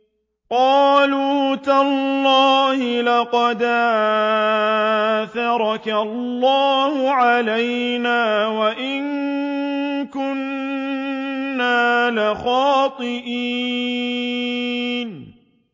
قَالُوا تَاللَّهِ لَقَدْ آثَرَكَ اللَّهُ عَلَيْنَا وَإِن كُنَّا لَخَاطِئِينَ